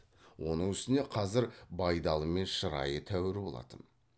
оның үстіне қазір байдалымен шырайы тәуір болатын